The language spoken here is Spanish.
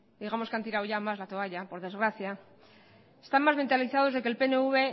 digamos que han tirado más la toalla por desgracia están más mentalizados de que el pnv